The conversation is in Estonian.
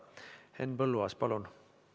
Henn Põlluaas, palun!